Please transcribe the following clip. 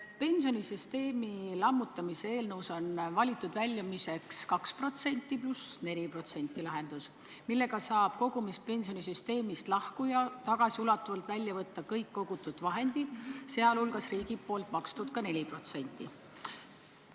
Pensionisüsteemi lammutamise eelnõus on valitud väljumiseks 2% + 4% lahendus, mille kohaselt saab kogumispensioni süsteemist lahkuja tagasiulatuvalt välja võtta kõik kogutud vahendid, sh riigi makstud 4%.